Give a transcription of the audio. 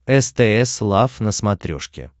стс лав на смотрешке